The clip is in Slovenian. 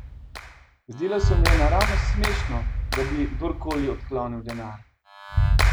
Zdelo se mu je naravnost smešno, da bi kdorkoli odklonil denar.